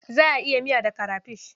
Za a yi miya da karafish.